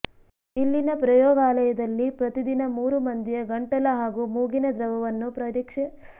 ಇಲ್ಲಿನ ಪ್ರಯೋಗಾಲಯದಲ್ಲಿ ಪ್ರತಿ ದಿನ ಮೂರು ಮಂದಿಯ ಗಂಟಲ ಹಾಗೂ ಮೂಗಿನ ದ್ರವವನ್ನು ಪರೀಕ್ಷೆ ಮಾಡಲಾಗುತ್ತಿದೆ